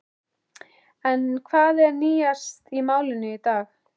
En hvað er nýjast í málinu í dag?